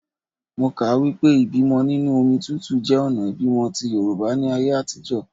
Mo kà á wípé ìbímọ nínú omi tútù jẹ́ ọ̀nà ìbímọ ti Yorùbá ní ayé àtijọ́.